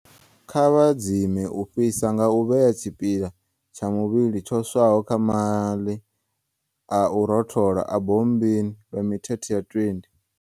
Kha vha dzime u fhisa nga u vhea tshipiḽa tsha muvhili tsho swaho kha maḽi a u rothola a bommbini lwa mithethe ya 20.